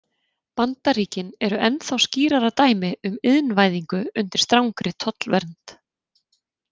Bandaríkin eru ennþá skýrara dæmi um iðnvæðingu undir strangri tollvernd.